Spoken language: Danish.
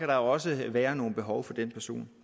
der også være nogle behov for den person